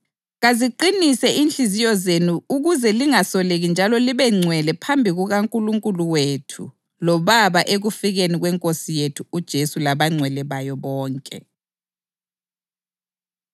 Kaziqinise inhliziyo zenu ukuze lingasoleki njalo libengcwele phambi kukaNkulunkulu wethu loBaba ekufikeni kweNkosi yethu uJesu labangcwele bayo bonke.